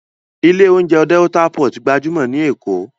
Ilé oúnjẹ Delta pot gbajúmọ̀ ní Èkó